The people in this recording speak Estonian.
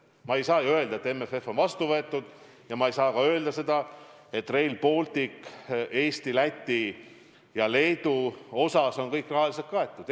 Ma ei saa ju öelda, et MFF on vastu võetud, ja ma ei saa ka öelda seda, et Rail Baltic on Eesti, Läti ja Leedu osas kõik rahaga kaetud.